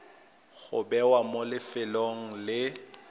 go bewa mo lefelong le